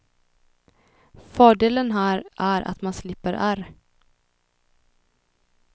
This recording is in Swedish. Fördelen här är att man slipper ärr.